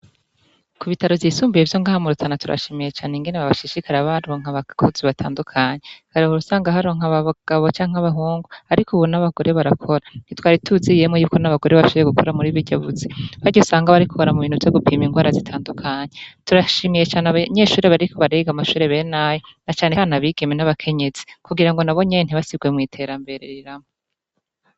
Ku bitaro vyisumbiye ivyo ngaha murutana turashimiye cane ingene bashishikara baronka abakozi batandukanye harigihe usanga baronka abagabo canke abahungu, ariko ubo n'abagore barakora ntitwari tuzi yemwe yuko n'abagore bacoboye gukora muri buriya buzi harya usanga bakora mu bintu vyo gupima ingwara zitandukanye turashimiye cane Abanyeshuri bariko bariga amashure benayo na canecane abigeme n'abakenyezi kugira ngo nabonyene ntibasirwe mw'iterambere rirama.